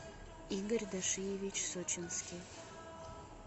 игорь дашиевич сочинский